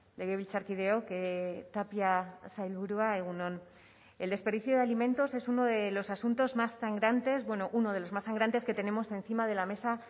legebiltzarkideok tapia sailburua egun on el desperdicio de alimentos es uno de los asuntos más sangrantes bueno uno de los más sangrantes que tenemos encima de la mesa